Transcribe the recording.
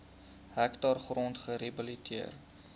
hektaar grond gerehabiliteer